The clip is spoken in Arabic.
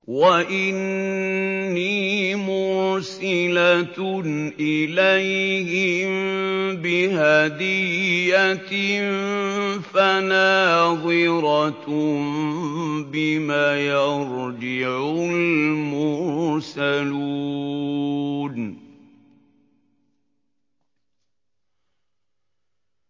وَإِنِّي مُرْسِلَةٌ إِلَيْهِم بِهَدِيَّةٍ فَنَاظِرَةٌ بِمَ يَرْجِعُ الْمُرْسَلُونَ